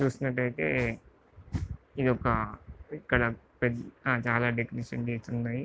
ఇక్కడ చూసినట్టయితే ఇదొక ఇక్కడ పెద్ద చాలా డెకరేషన్స్ చేసి ఉన్నాయి.